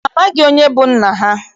Ha amaghị onye bụ nna ha.